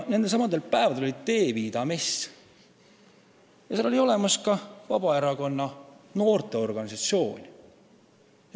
Nendelsamadel päevadel oli Teeviida mess, kus oli kohal ka Vabaerakonna noorteorganisatsioon.